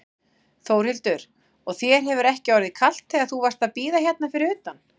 Þórhildur: Og þér hefur ekki orðið kalt þegar þú varst að bíða hérna fyrir utan?